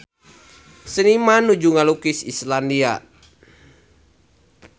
Seniman nuju ngalukis Islandia